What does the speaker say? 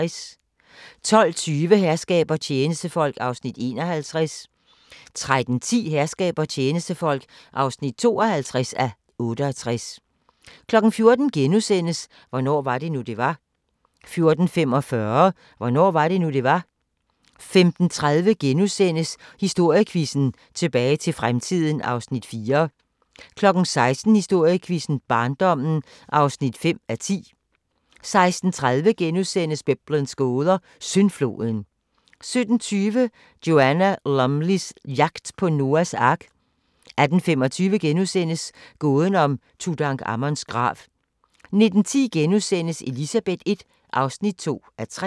12:20: Herskab og tjenestefolk (51:68) 13:10: Herskab og tjenestefolk (52:68) 14:00: Hvornår var det nu, det var? * 14:45: Hvornår var det nu, det var? 15:30: Historiequizzen: Tilbage til fremtiden (4:10)* 16:00: Historiequizzen: Barndommen (5:10) 16:30: Biblens gåder – Syndfloden * 17:20: Joanna Lumleys jagt på Noas ark 18:25: Gåden om Tutankhamons grav * 19:10: Elizabeth I (2:3)*